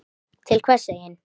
Því það var bara þannig.